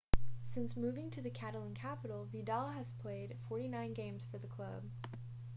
since moving to the catalan-capital vidal had played 49 games for the club